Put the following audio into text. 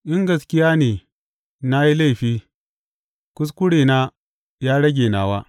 In gaskiya ne na yi laifi, kuskurena ya rage nawa.